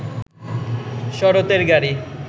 শরতের গাড়ি